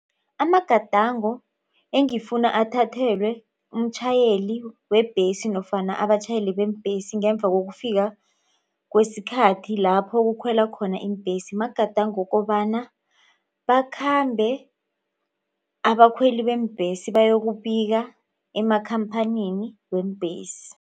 Amagadango engifuna athathelwe umtjhayeli webhesi nofana abatjhayeli beembhesi ngemva kokufika kwesikhathi lapho kukhwelwa khona iimbhesi magadango wokobana bakhambe abakhweli beembhesi bayokubika emakhamphanini weembhesi.